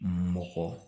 Mɔgɔ